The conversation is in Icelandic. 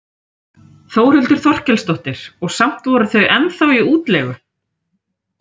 Þórhildur Þorkelsdóttir: Og samt voru þau ennþá í útleigu?